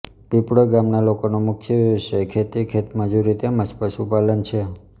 પીપળોઇ ગામના લોકોનો મુખ્ય વ્યવસાય ખેતી ખેતમજૂરી તેમ જ પશુપાલન છે